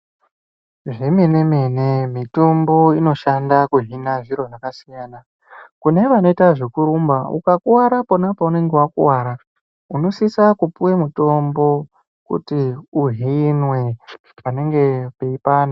Zvemene mene mitombo inoshanda kuhina zviro zvakasiyana kune vanoita zvekurumba ukakuwara pona paunonga wakuwara unosisa kupiwe mitombo kuti uhinwe panenge peipanda.